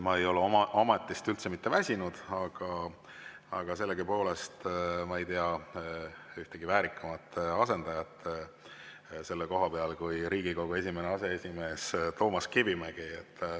Ma ei ole oma ametist üldse mitte väsinud, aga sellegipoolest, ma ei tea ühtegi väärikamat asendajat selle koha peal kui Riigikogu esimene aseesimees Toomas Kivimägi.